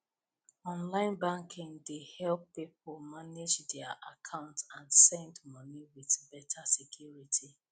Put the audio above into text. online banking dey help people manage dia account and send money with better security